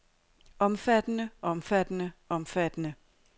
omfattende omfattende omfattende